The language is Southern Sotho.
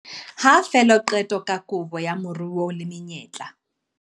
Ha fela qeto ka kabo ya moruo le menyetla